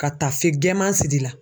Ka taafe gɛɛman siri i la.